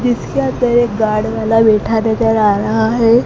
जिसके आगे एक गार्ड वाला बैठा नजर आ रहा हैं।